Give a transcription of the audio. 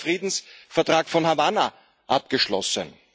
Es wurde der Friedensvertrag von Havanna abgeschlossen.